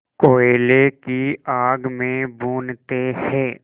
कोयले की आग में भूनते हैं